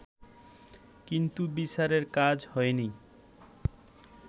কিন্তু বিচারের কাজ হয়নি